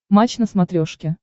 матч на смотрешке